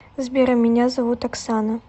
сбер а меня зовут оксана